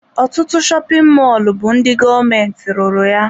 Ọtụtụ shopin mọlụ a bụ ndị gọọmentị ruru ya.